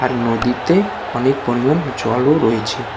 আর নদীতে অনেক পরিমাণ জলও রয়েছে।